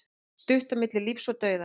Stutt á milli lífs og dauða